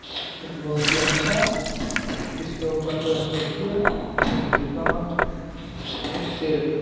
एक बहुत ही अच्छा जिसके ऊपर पूरा स्टैचू है एक दुर्गा माँ का एक शेर का।